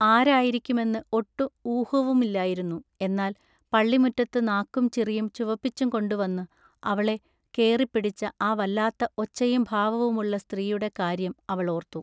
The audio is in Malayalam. ആരായിരിക്കുമെന്നു ഒട്ടു ഊഹവുമില്ലായിരുന്നു. എന്നാൽ പള്ളിമുറ്റത്തു നാക്കും ചിറിയും ചുവപ്പിച്ചുംകൊണ്ടു വന്നു അവളെ കേറിപ്പിടിച്ച ആ വല്ലാത്ത ഒച്ചയും ഭാവവുമുള്ള സ്ത്രീയുടെ കാൎയ്യം അവൾ ഓൎത്തു.